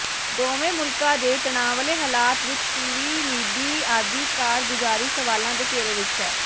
ਦੋਵੇਂ ਮੁਲਕਾਂ ਦੇ ਤਣਾਅਵਾਲੇ ਹਲਾਤਵਿਚਟੀਵੀਮੀਡੀਆਦੀ ਕਾਰਗੁਜ਼ਾਰੀ ਸਵਾਲਾਂ ਦੇ ਘੇਰੇ ਵਿਚਹੈ